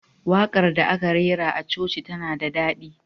Waƙar da aka rera a coci tana da daɗi.